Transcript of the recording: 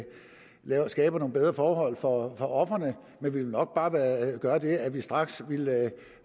vi skaber nogle bedre forhold for ofrene men vi vil nok bare gøre det at vi straks ville